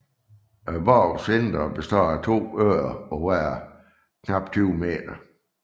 Borgens indre består af to øer på hver knap 20 m